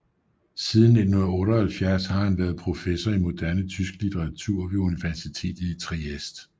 Siden 1978 har han været professor i moderne tysk litteratur ved universitetet i Trieste